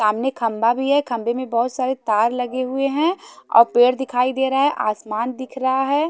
सामने खंभा भी है खंभे में बहोत सारे तार लगे हुए हैं और पेड़ दिखाई दे रहा है आसमान दिख रहा है।